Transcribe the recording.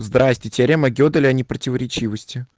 здравствуйте теорема геделя непротиворечивости